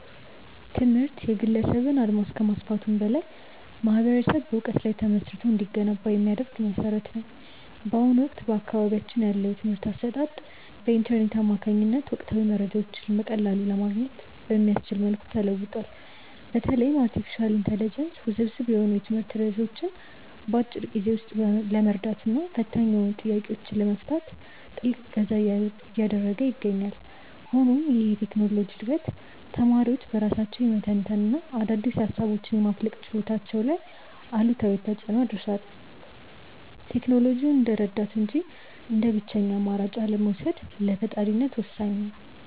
ትምህርት የግለሰብን አድማስ ከማስፋቱም በላይ ማኅበረሰብ በዕውቀት ላይ ተመስርቶ እንዲገነባ የሚያደርግ መሠረት ነው። በአሁኑ ወቅት በአካባቢያችን ያለው የትምህርት አሰጣጥ በኢንተርኔት አማካኝነት ወቅታዊ መረጃዎችን በቀላሉ ለማግኘት በሚያስችል መልኩ ተለውጧል። በተለይም አርቲፊሻል ኢንተለጀንስ ውስብስብ የሆኑ የትምህርት ርዕሶችን በአጭር ጊዜ ውስጥ ለመረዳትና ፈታኝ ጥያቄዎችን ለመፍታት ትልቅ እገዛ እያደረገ ይገኛል። ሆኖም ይህ የቴክኖሎጂ ዕድገት ተማሪዎች በራሳቸው የመተንተንና አዳዲስ ሃሳቦችን የማፍለቅ ችሎታቸው ላይ አሉታዊ ተፅእኖ አድርሷል። ቴክኖሎጂውን እንደ ረዳት እንጂ እንደ ብቸኛ አማራጭ አለመውሰድ ለፈጣሪነት ወሳኝ ነው።